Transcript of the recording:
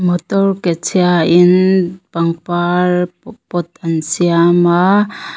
motor ke chhia in pangpar pot an siam a.